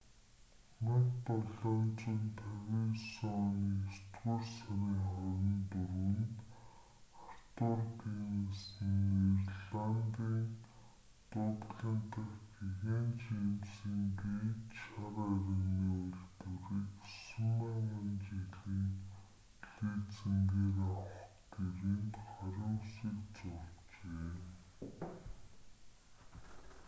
1759 оны есдүгээр сарын 24-нд артур гиннес нь ирландын дублин дахь гэгээн жэймсийн гэйт шар айрагны үйлдвэрийг 9,000 жилийн лизингээр авах гэрээнд гарын үсэг зуржээ